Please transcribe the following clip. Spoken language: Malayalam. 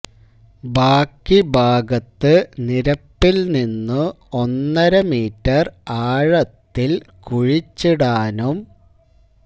ബാക്കി ഭാഗത്ത് നിരപ്പിൽ നിന്നു ഒന്നര മീറ്റർ ആഴത്തിൽ കുഴിച്ചിടാനും